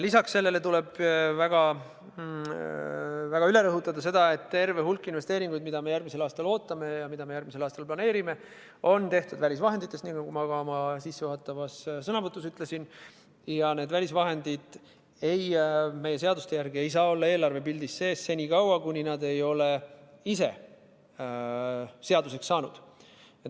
Lisaks tuleb üle rõhutada sedagi, et terve hulk investeeringuid, mida me järgmisel aastal ootame ja mida me järgmisel aastal planeerime, on tehtud välisvahenditest, nagu ma sissejuhatavas sõnavõtus ütlesin, ja need välisvahendid ei saa meie seaduste järgi olla eelarvepildis sees enne, kui nad ei ole ise seaduseks saanud.